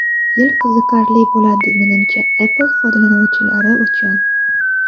Yil qiziqarli bo‘ladi menimcha Apple foydalanuvchilari uchun.